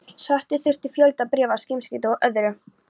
Svara þurfti fjölda bréfa, símskeytum og öðru.